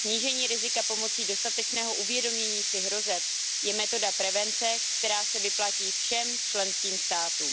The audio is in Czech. Snížení rizika pomocí dostatečného uvědomění si hrozeb je metoda prevence, která se vyplatí všem členským státům.